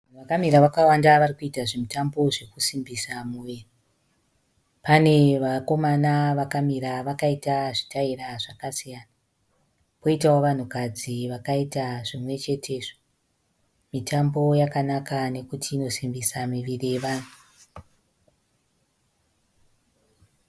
Vanhu vakamira vakawanda vari kuita zvimutambo zvinosimbisa miviri. Pane vakomana vakamira vakaita zvitaera zvakasiyana, kwoitawo vanhukadzi vakaita zvimwechetezvo. Mitambo yakanaka nokuti inosimbisa miviri yevanhu.